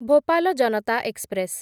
Bhopal Janata express